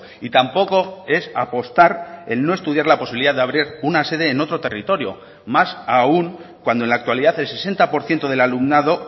y tampoco es apostar el no estudiar la posibilidad de abrir una sede en otro territorio más aún cuando en la actualidad el sesenta por ciento del alumnado